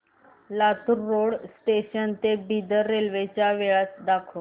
Latur road junction ते Bidar railway च्या वेळा दाखव